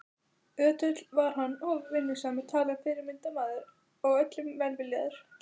Ötull var hann og vinnusamur talinn fyrirmyndarmaður og öllum velviljaður.